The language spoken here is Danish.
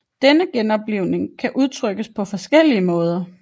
Denne genoplivning kan udtrykkes på forskellige måder